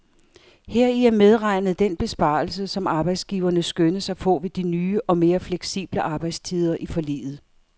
Heri er medregnet den besparelse, som arbejdsgiverne skønnes at få ved de nye og mere fleksible arbejdstider i forliget.